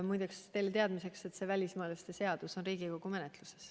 Muide, ütlen teile teadmiseks, et see välismaalaste seadus on Riigikogu menetluses.